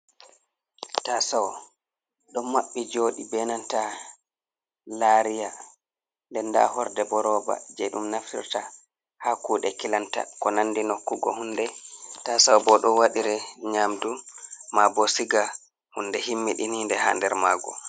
Ta sawo ɗon maɓɓi joɗi benanta lariya, nde nda horde bo roba je ɗum naftirta ha kuɗe kilanta, ko nandi nokkugo hunde. ta sawo bo, ɗo waɗeiri nyamdu ma bo siga hunde himmiɗininde ha der mago.